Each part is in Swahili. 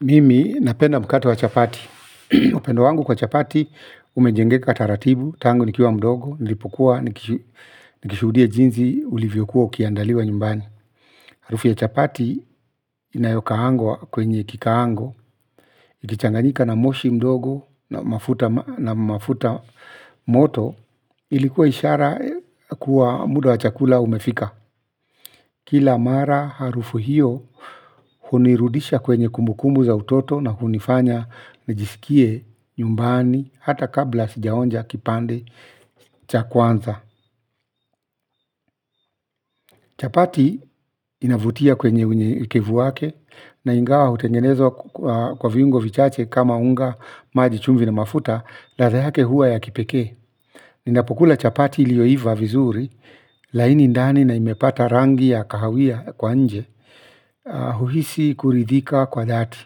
Mimi napenda mkato wa chapati. Upendo wangu kwa chapati umejengeka taratibu. Tangu nikiwa mdogo Nilipokua Nikishuhudia jinsi ulivyokuwa ukiandaliwa nyumbani. Harufu ya chapati inayokaangwa kwenye kikaango ikichanganyika na moshi mdogo na mafuta moto ilikuwa ishara kuwa muda wa chakula umefika. Kila mara harufu hiyo hunirudisha kwenye kumbukumbu za utoto na hunifanya nijiskie nyumbani hata kabla sijaonja kipande. Chapati inavutia kwenye unyekekevu wake na ingawa hutengenezwa kwa viungo vichache kama unga maji chumvi na mafuta ladha yake huwa ya kipekee. Ninapokula chapati ilioyoiva vizuri laini ndani na imepata rangi ya kahawia kwa nje huhisi kuridhika kwa dhati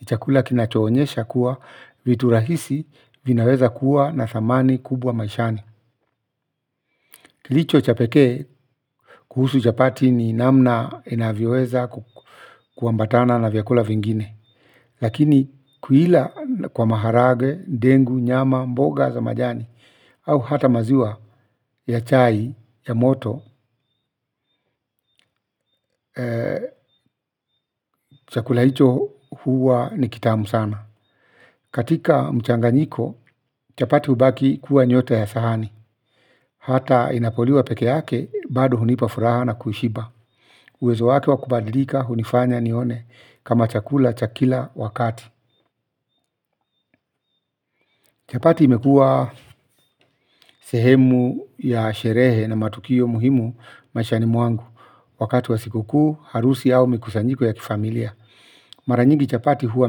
ni chakula kinachoonyesha kuwa vitu rahisi vinaweza kuwa na thamani kubwa maishani vichwa cha pekee kuhusu chapati ni namna inavyoweza kuambatana na vyakula vingine. Lakini kuila kwa maharage, dengu, nyama, mboga za majani au hata maziwa ya chai, ya moto, chakula hicho huwa ni kitamu sana. Katika mchanganyiko chapati hubaki kuwa nyota ya sahani. Hata inapoliwa peke yake bado hunipa furaha na kuishiba. Uwezo wake wa kubadilika hunifanya nione kama chakula cha kila wakati. Chapati imekua sehemu ya sherehe na matukio muhimu maishani mwangu. Wakati wa sikukuu, harusi au mikusanyiko ya kifamilia mara nyingi chapati huwa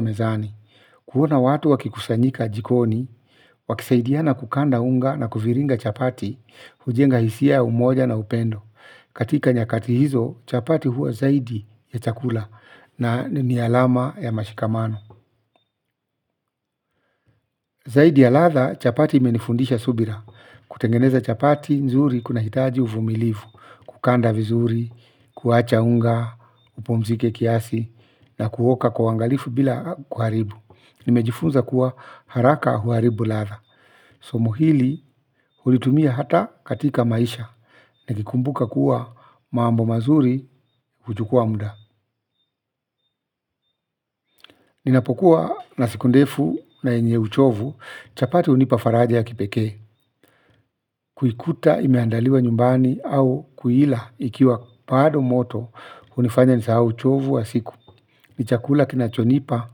mezani huona watu wakikusanyika jikoni wakisaidiana kukanda unga na kuviringa chapati hujenga hisia ya umoja na upendo katika nyakati hizo chapati huwa zaidi ya chakula na ni alama ya mashikamano. Zaidi ya ladha, chapati imenifundisha subira. Kutengeneza chapati, nzuri kunahitaji uvumilifu, kukanda vizuri, kuacha unga, upumzike kiasi, na kuoka kwa uangalifu bila kuharibu. Nimejifunza kuwa haraka huharibu ladha. Somo hili hulitumia hata katika maisha, nikikumbuka kuwa mambo mazuri huchukua muda. Ninapokuwa na siku ndefu na yenye uchovu, chapati hunipa faraja ya kipekee. Kuikuta imeandaliwa nyumbani au kuila ikiwa bado moto kunifanya nisahau uchovu wa siku. Ni chakula kinachonipa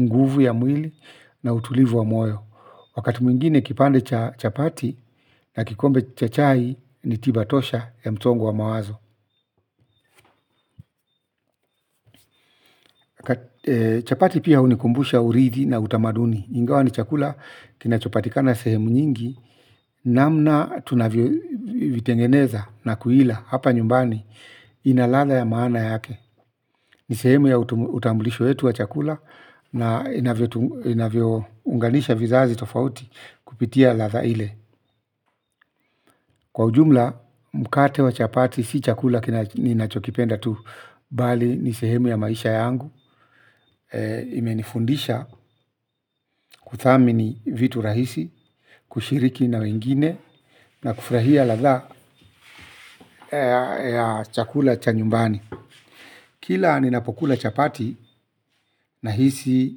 nguvu ya mwili na utulivu wa moyo. Wakati mwingine kipande cha chapati na kikombe cha chai ni tiba tosha ya msongo wa mawazo. Chapati pia hunikumbusha urithi na utamaduni ingawa ni chakula kinachopatikana sehemu nyingi. Namna tunavyovitengeneza na kuila hapa nyumbani ina ladha ya maana yake. Ni sehemu ya utambulisho yetu wa chakula na inavyounganisha vizazi tofauti kupitia ladha ile. Kwa ujumla mkate wa chapati si chakula ninachopenda tu bali ni sehemu ya maisha yangu. Imenifundisha kuthamini vitu rahisi kushiriki na wengine na kufrahia ladha ya chakula cha nyumbani kila ninapokula chapati nahisi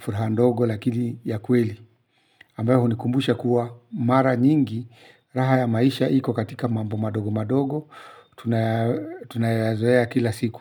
furaha ndogo lakini ya kweli ambayo hunikumbusha kuwa mara nyingi raha ya maisha iko katika mambo madogo madogo tunayazoea kila siku.